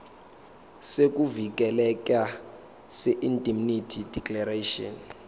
sokuvikeleka seindemnity declaration